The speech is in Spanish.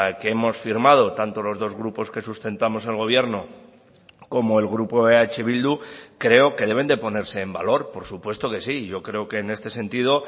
que hemos firmado tanto los dos grupos que sustentamos el gobierno como el grupo eh bildu creo que deben de ponerse en valor por supuesto que sí yo creo que en este sentido